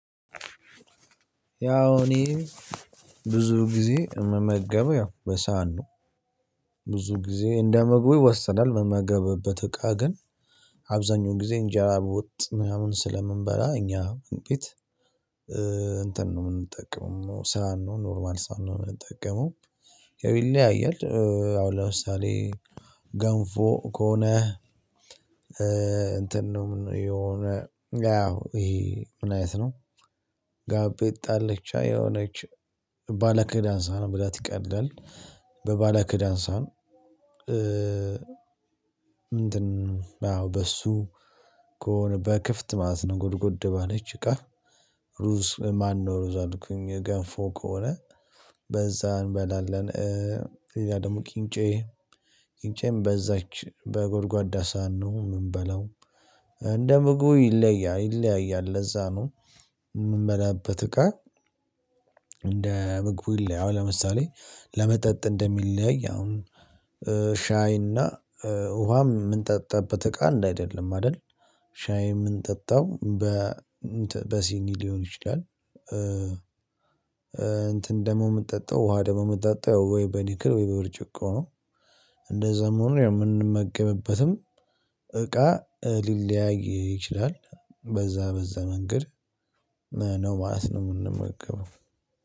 ያው እኔ ብዙ ጊዜ እምመገበው ያው በሳህን ነው። ብዙ ጊዜ እንደመምግቡ ይወስናል እምመገበበት እቃ ግን አብዛኛው ጊዜ እንጀራ በወጥ ምናምን ስለምንበላ እኛ ወንበት። እንትን ነው የምንጠቀመው ሰሃን ነው ኖርማል ሰን ነው የምንጠቀመው። ይለያያል። ያው ለምሳሌ ገንፎ ከሆነ። እንትን ነው የሆነ ያው ይሄ ምን አይነት ነው? ጋቤ ጣለቻ የሆነች ባለክዳን ሰሃን መብላት ይቀላል። በባለክዳን ሰሃን። እንትን አዎ በሱ ከሆነ በክፍት ማለት ነው ጎድጎድ ባለች እቃ። ሩዝ ማነው አልኩኝ ገንፎ ከሆነ በዛ እንበላለን። ሌላ ደግሞ ቅንጬ ቅንጬም በዛች በጎድጓዳ ሰሃን ነው ምንበላው። እንደ ምግቡ ይለያያል ይለያያል ለዛ ነው። የምንበላበት እቃ። እንደ ምግቡ ይለያዋል ለምሳሌ ለመጠጥ እንደሚለያይ አሁን ሻይና ውሃም የምንጠጣበት እቃ አንድ አይደለም አይደል። ሻይ የምንጠጣው በ በሲኒ ሊሆን ይችላል። እንትን ደግሞ የምንጠጣው ውሃ ደሞ የምትጠጣው ወይ በኒክል ወይ በብርጭቆ ነው። እንደዛም ሆኖ የምንመገብበትም እቃ ሊለያይ ይችላል በዛ በዛ መንገድ። ነው ማለት ነው። እምንመገበው